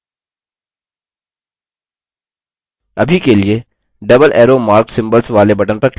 अभी के लिए double arrow mark symbols वाले button पर click करें